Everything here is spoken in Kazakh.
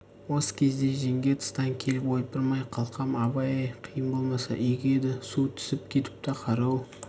осы кезде жеңге тыстан келіп ойпырмай қалқам абай-ай қиын болмаса игі еді су түсіп кетіпті қарауыл